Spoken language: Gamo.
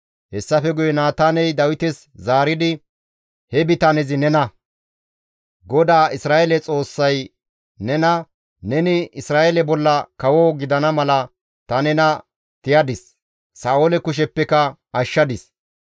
Hessafe guye Naataaney Dawites zaaridi, «He bitanezi nena! GODAA Isra7eele Xoossay nena, ‹Neni Isra7eele bolla kawo gidana mala ta nena tiyadis; Sa7oole kusheppeka nena ashshadis.